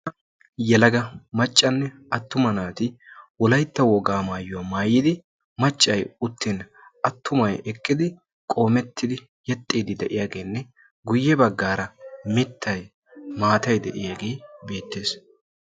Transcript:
dumma dumma yelaga naati wolaytta wogaa maayuwa maayidi macay uttin attumay eqqin guye bagan mitay eqqidaagee beetees.